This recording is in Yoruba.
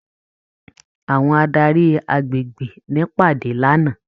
Àwọn adarí agbègbè n'ìpàdé l'ana.